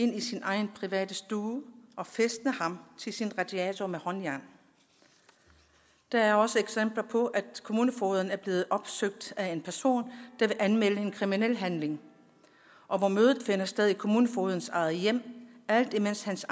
ind i sin egen private stue og fæstne ham til sin radiator med håndjern der er også eksempler på at kommunefogeden er blevet opsøgt af en person der vil anmelde en kriminel handling og hvor mødet finder sted i kommunefogedens eget hjem alt imens hans